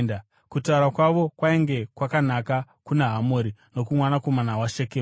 Kutaura kwavo kwainge kwakanaka kuna Hamori nomwanakomana wake Shekemu.